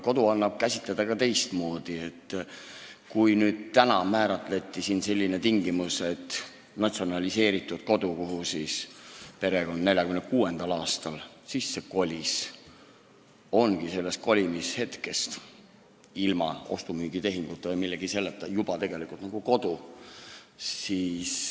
Kodu annab käsitada ka teistmoodi, mitte nii, nagu täna just määratleti, et natsionaliseeritud kodu, kuhu perekond 1946. aastal sisse kolis, ongi sellest sissekolimise hetkest ilma ostu-müügitehinguta või millegi selliseta tegelikult kodu.